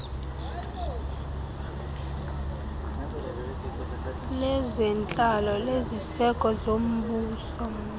lezentlalo leziseko zombuso